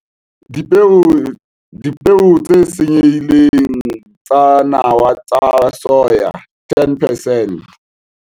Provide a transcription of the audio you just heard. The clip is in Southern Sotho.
Dipeo tse senyehileng tsa nawa tsa soya - 10 percent.